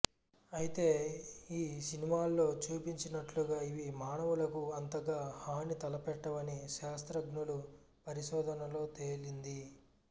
అయితే ఈ సినిమాల్లో చూపించినట్లుగా ఇవి మానవులకు అంతగా హాని తలపెట్టవని శాస్త్రజ్ఞుల పరిశోధనల్లో తేలింది